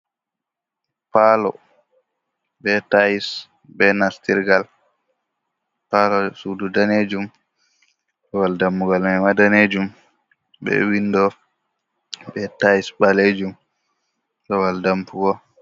Paalo be tayls, be nastirgal paalo, suudu daneejum, babal dammugal mayma danejum, be winndo, be tayels ɓaleejum, babal dambugo.